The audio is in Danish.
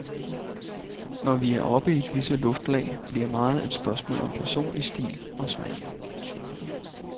Når vi er oppe i disse luftlag, bliver meget et spørgsmål om personlig stil og smag.